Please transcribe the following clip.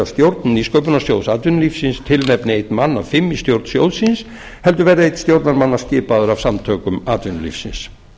stjórn nýsköpunarsjóðs atvinnulífsins tilnefni einn mann af fimm í stjórnarnefnd sjóðsins heldur verði einn stjórnarmanna skipaður af samtökum atvinnulífsins